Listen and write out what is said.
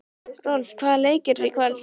Rolf, hvaða leikir eru í kvöld?